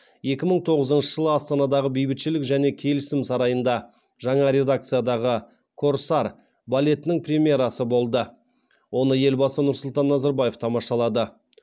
екі мың тоғызыншы жылы астанадағы бейбітшілік және келісім сарайында жаңа редакциядағы корсар балетінің премьерасы болды оны елбасы нұрсұлтан назарбаев тамашалады